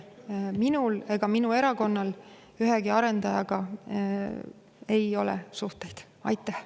Ei minul ega minu erakonnal ühegi arendajaga mingeid suhteid ei ole.